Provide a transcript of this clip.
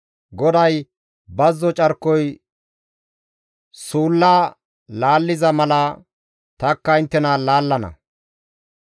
GODAY, «Bazzo carkoy suulla laalliza mala tanikka inttena laallana.